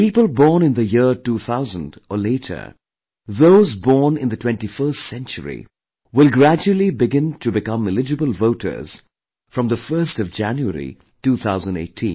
People born in the year 2000 or later; those born in the 21st century will gradually begin to become eligible voters from the 1st of January, 2018